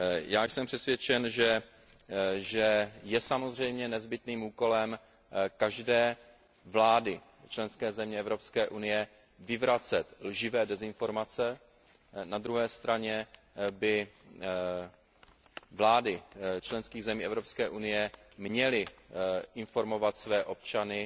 Já jsem přesvědčen, že je samozřejmě nezbytným úkolem každé vlády členské země Evropské unie vyvracet lživé dezinformace, na druhé straně by vlády členských zemí Evropské unie měly informovat své občany